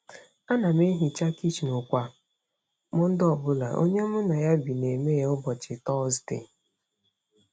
Ana m ehicha kichin kwa Mọnde ọ bụla, onye mụ na ya bi na-eme ya ụbọchị Tọzdee.